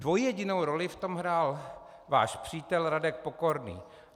Dvojjedinou roli v tom hrál váš přítel Radek Pokorný.